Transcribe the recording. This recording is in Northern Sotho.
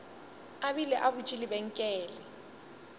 a bile a butše lebenkele